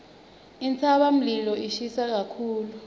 intsabamlilo ishisa kakhulu